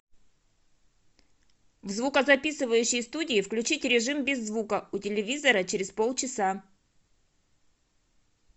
в звукозаписывающей студии включить режим без звука у телевизора через полчаса